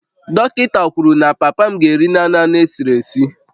Dọkịta kwuru na papa m ga-eri naanị anụ esiri esi